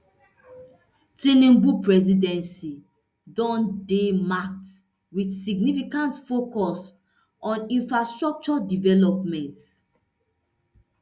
tinubu presidency don dey marked wit significant focus on infrastructure development